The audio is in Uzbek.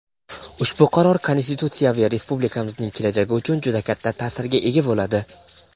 Ushbu qaror konstitutsiyaviy respublikamizning kelajagi uchun juda katta ta’sirga ega bo‘ladi.